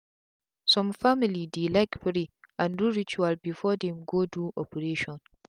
some family dey like pray and do rituals before them go do operation.